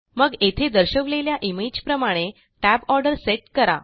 मग येथे दर्शवलेल्या इमेज प्रमाणे Tab ऑर्डर सेट करा